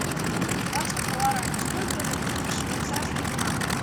двадцать гуарани сколько это в швейцарских франках